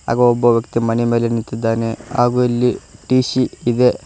ಹಾಗು ಒಬ್ಬ ವ್ಯಕ್ತಿ ಮಣಿ ಮೇಲೆ ನಿಂತಿದ್ದಾನೆ ಹಾಗು ಇಲ್ಲಿ ಟಿ_ಸಿ ಇದೆ.